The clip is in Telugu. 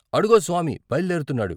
అడుగో స్వామి బయలుదేరుతున్నాడు.